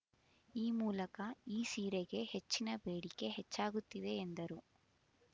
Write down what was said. ಈ ಮೂಲಕ ಈ ಸೀರೆಗೆ ಹೆಚ್ಚಿನ ಬೇಡಿಕೆ ಹೆಚ್ಚಾಗುತ್ತಿದೆ ಎಂದರು